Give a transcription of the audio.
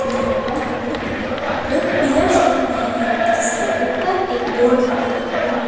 यहां पर हमें दो पिलर्स दिख रहे हैं जिसके ऊपर एक बोर्ड लगा हुआ है।